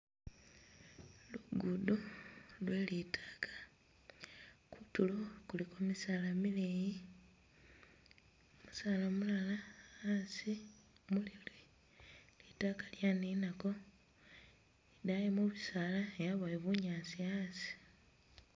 Lugudo lwe li taka, kutulo kuliko misaala mileyi, musalaa mulala asi mulili litaaka lyaninako, idaayi mu bisaala yabayo bunyaasi asi.